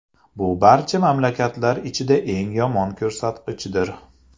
Bu barcha mamlakatlar ichida eng yomon ko‘rsatkichdir.